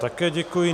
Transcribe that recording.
Také děkuji.